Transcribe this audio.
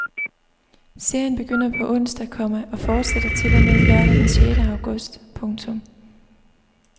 Serien begynder på onsdag, komma og fortsætter til og med lørdag den sjette august. punktum